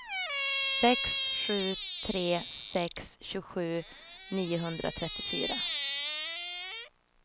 sex sju tre sex tjugosju niohundratrettiofyra